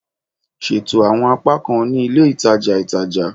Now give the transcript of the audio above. Ṣeto awọn apakan ni ile itaja itaja